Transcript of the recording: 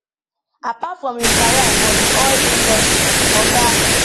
apart from im career for di oil industry oga